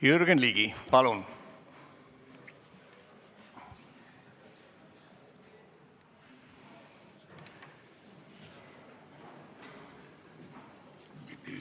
Jürgen Ligi, palun!